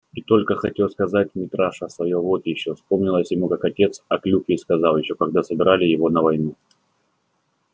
и только хотел сказать митраша своё вот ещё вспомнилось ему как отец о клюкве сказал ещё когда собирали его на войну